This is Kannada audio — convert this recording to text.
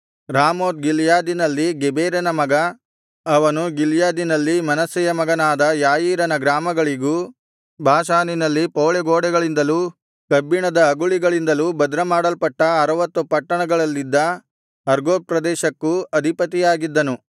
ರಾಮೋತ್ ಗಿಲ್ಯಾದಿನಲ್ಲಿದ್ದ ಗೆಬೇರನ ಮಗ ಅವನು ಗಿಲ್ಯಾದಿನಲ್ಲಿ ಮನಸ್ಸೆಯ ಮಗನಾದ ಯಾಯೀರನ ಗ್ರಾಮಗಳಿಗೂ ಬಾಷಾನಿನಲ್ಲಿ ಪೌಳಿಗೋಡೆಗಳಿಂದಲೂ ಕಬ್ಬಿಣದ ಅಗುಳಿಗಳಿಂದಲೂ ಭದ್ರಮಾಡಲ್ಪಟ್ಟ ಅರವತ್ತು ಪಟ್ಟಣಗಳಲ್ಲಿದ್ದ ಅರ್ಗೋಬ್ ಪ್ರದೇಶಕ್ಕೂ ಅಧಿಪತಿಯಾಗಿದ್ದನು